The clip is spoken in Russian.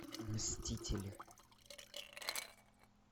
мстители